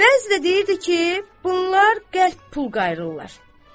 Bəzi də deyirdi ki, bunlar qəlb pul qayırırlar.